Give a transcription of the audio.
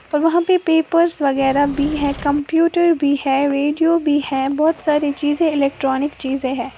और वहां पे पेपर्स वगैरह भी है कंप्यूटर भी है रेडियो भी है बहुत सारी चीजें इलेक्ट्रॉनिक चीजें हैं।